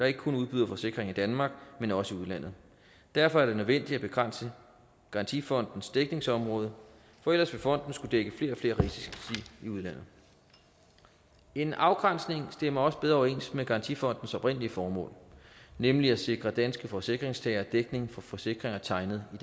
ikke kun udbyder forsikring i danmark men også i udlandet derfor er det nødvendigt at begrænse garantifondens dækningsområde for ellers vil fonden skulle dække flere og flere risici i udlandet en afgrænsning stemmer også bedre overens med garantifondens oprindelige formål nemlig at sikre danske forsikringstagere dækning for forsikringer tegnet i